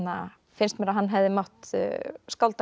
finnst mér að hann hefði mátt skálda